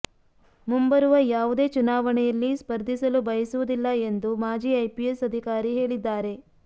ಮುಂಬರುವ ಯಾವುದೇ ಚುನಾವಣೆಯಲ್ಲಿ ಸ್ಪರ್ಧಿಸಲು ಬಯಸುವುದಿಲ್ಲ ಎಂದು ಮಾಜಿ ಐಪಿಎಸ್ ಅಧಿಕಾರಿ ಹೇಳಿದ್ದಾರೆ